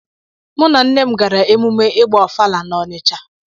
Mụ na nne m gara emume ịgba ọfala na Ọnịcha.